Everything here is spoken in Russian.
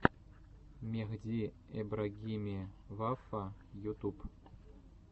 мехди эбрагими вафа ютуб